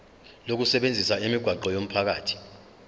lokusebenzisa imigwaqo yomphakathi